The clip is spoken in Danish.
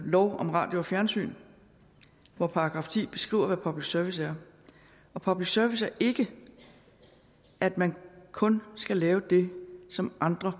lov om radio og fjernsyn hvor § ti beskriver hvad public service er og public service er ikke at man kun skal lave det som andre